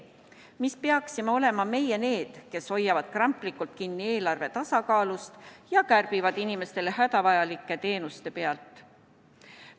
Miks peaksime olema meie need, kes hoiavad kramplikult kinni eelarve tasakaalust ja kärbivad inimestele hädavajalike teenuste pealt?